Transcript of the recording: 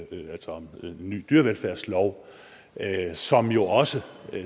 nyt en dyrevelfærdslov som jo også